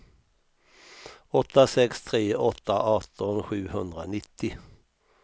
åtta sex tre åtta arton sjuhundranittio